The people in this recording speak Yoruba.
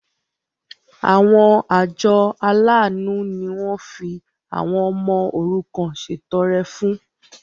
Àwọn àjọ aláàánú ni wọ́n fi àwọn ọmọ òrukàn ṣètọrẹ fún.